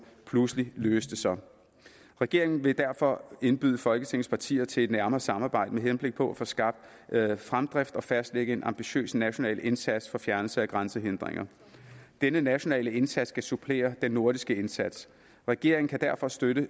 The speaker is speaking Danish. pludselig løste sig regeringen vil derfor indbyde folketingets partier til et nærmere samarbejde med henblik på at få skabt fremdrift og fastlægge en ambitiøs national indsats for fjernelse af grænsehindringer denne nationale indsats skal supplere den nordiske indsats regeringen kan derfor støtte